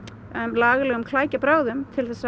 lagalegum klækjabrögðum til